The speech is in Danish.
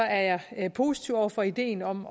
er jeg positiv over for ideen om